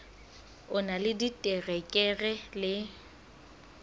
o na le diterekere le